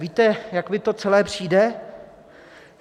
Víte, jak mi to celé přijde?